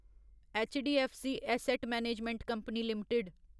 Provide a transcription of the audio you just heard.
HDFC asset management company limited